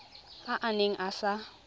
a a neng a sa